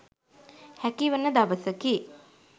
හැකිවන දවසකි.